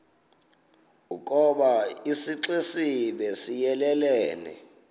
ukoba isixesibe siyelelene